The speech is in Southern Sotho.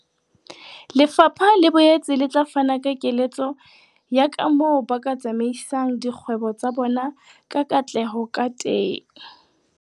Lefapha le boetse le tla fana ka keletso ya kamoo ba ka tsamaisang dikgwebo tsa bona ka katleho ka teng.